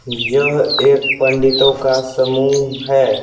यह एक पंडितों का समूह है ।